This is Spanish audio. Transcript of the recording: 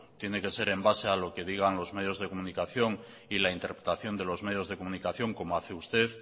tiene que ser en base a lo que digan los medios de comunicación y la interpretación de los medios de comunicación como hace usted